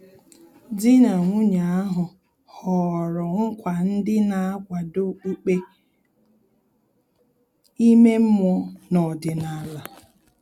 Dị na nwunye ahu họrọ nkwa ndị na-akwado okpukpe ime mmụọ na ọdịnala